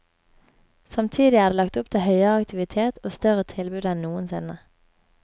Samtidig er det lagt opp til høyere aktivitet og større tilbud enn noensinne.